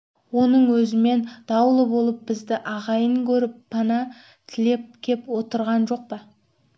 оның өзімен даулы болып бізді ағайын көріп пана тілеп кеп отырған жоқ па